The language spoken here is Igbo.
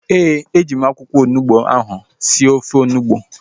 Ee, e ji m akwụkwọ onugbu ahu sie ofe onugbu